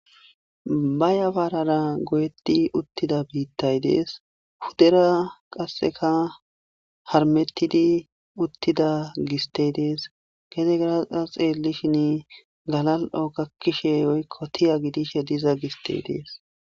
Ba yafarara goyyeti uttida biitay dessi puuddera qasseka haarmetidi uttida gisttey dessi gedera qasse xeelishin gallali'o gaakishe woykko tiiya giidida giisttey dessi.